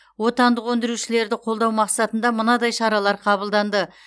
отандық өндірушілерді қолдау мақсатында мынадай шаралар қабылданды